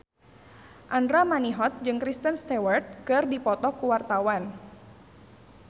Andra Manihot jeung Kristen Stewart keur dipoto ku wartawan